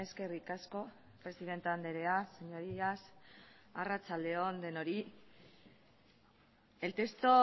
eskerrik asko presidente andrea señorías arratsalde on denoi el texto